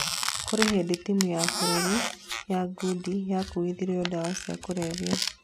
kũrĩ hĩndĩ timu ya bũrũri ya ngũmi yakuithirio ndawa cia kulevya